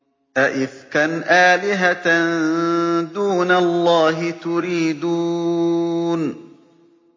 أَئِفْكًا آلِهَةً دُونَ اللَّهِ تُرِيدُونَ